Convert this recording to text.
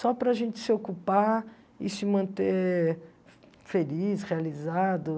Só para a gente se ocupar e se manter feliz, realizado.